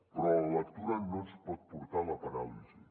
però la lectura no ens pot portar a la paràlisi